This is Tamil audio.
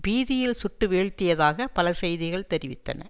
பீதியில் சுட்டுவீழ்த்தியதாக பல செய்திகள் தெரிவித்தன